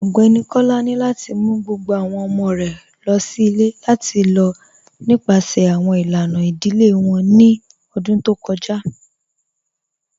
Ọgbẹni Kọ́lá ni lati mú gbogbo awọn ọmọ̀ rẹ̀ lọ sí ilẹ̀ lati lọ nípasẹ̀ awọn ilànà idílé wọn ní ọ̀dún tó kọja